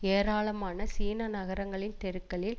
ஏராளமான சீன நகரங்களின் தெருக்களில்